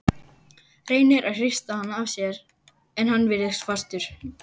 Reynir að hrista hann af sér en hann virðist fastur.